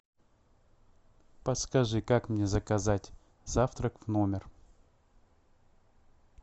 подскажи как мне заказать завтрак в номер